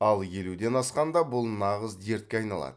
ал елуден асқанда бұл нағыз дертке айналады